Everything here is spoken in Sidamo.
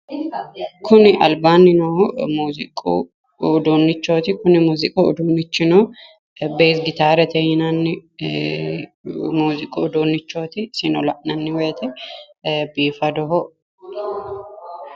kuni albaani noohu muziiqu uduunichoti isino Gitarete la'nanni woyte lowo geeshsha biifanoho